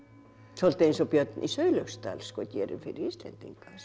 svolítið eins og Björn í Sauðlauksdal gerir fyrir Íslendinga